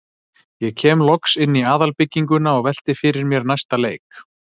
Ég kem loks inn í aðalbygginguna og velti fyrir mér næsta leik.